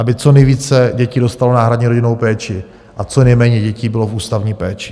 Aby co nejvíce dětí dostalo náhradní rodinnou péči a co nejméně dětí bylo v ústavní péči.